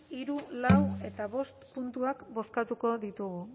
hiru lau eta bost puntuak bozkatuko ditugu